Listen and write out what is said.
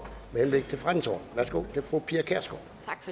værsgo til fru pia kjærsgaard